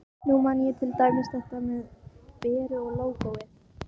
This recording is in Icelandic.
Nú man ég til dæmis þetta með Beru og lógóið.